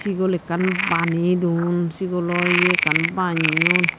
sigol ekkan bani don sigolo ye ekkan banyon.